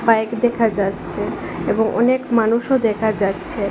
Bike দেখা যাচ্ছে এবং অনেক মানুষও দেখা যাচ্ছে।